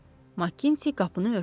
Makinti qapını örtdü.